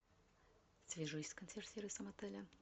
свяжись с консьерж сервисом отеля